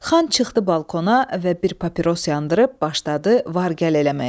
Xan çıxdı balkona və bir papiros yandırıb başladı var gəl eləməyə.